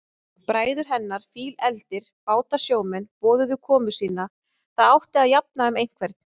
Bræður hennar, fílefldir bátasjómenn, boðuðu komu sína, það átti að jafna um einhvern.